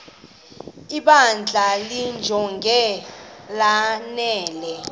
ibandla limjonge lanele